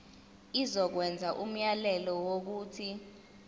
izokwenza umyalelo wokuthi